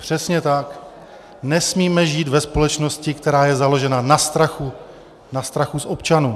Přesně tak, nesmíme žít ve společnosti, která je založena na strachu, na strachu z občanů.